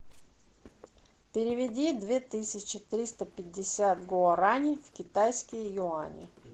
переведи две тысячи триста пятьдесят гуарани в китайские юани